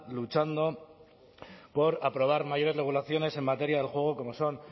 luchando por aprobar mayores regulaciones en materia del juego como son